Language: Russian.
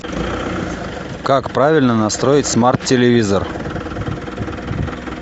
как правильно настроить смарт телевизор